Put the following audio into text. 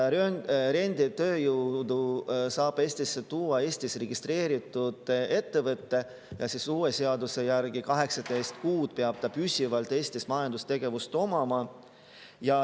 Renditööjõudu saab Eestisse tuua Eestis registreeritud ettevõte, millel uue seaduse järgi peab 18 kuud püsivat majandustegevust Eestis.